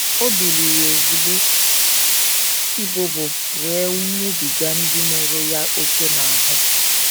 O biliri ozugbo, “ ibobo wee nwụbiga ndị mụrụ ya ókè n’ahụ. ”